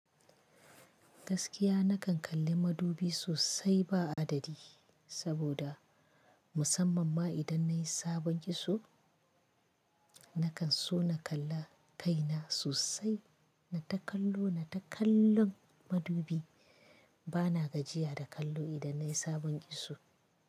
Gaskiya na kan kalli madubi sosai ba adadi, saboda musamman ma idan nayi sabon kitso nakan so na kalla kaina sosai. Na ta kallo, na ta kallon madubi. Bana gajiya da kallo idan nayi sabon kitso.